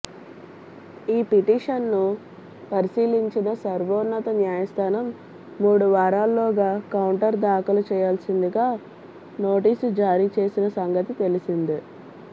ఈ పిటీషన్ను పరిశీలించిన సర్వోన్నత న్యాయస్థానం మూడు వారాల్లోగా కౌంటర్ దాఖలు చేయాల్సిందిగా నోటీసు జారీ చేసిన సంగతి తెలిసిందే